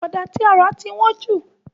Ọ̀dà tí a rà tí wọ́n ju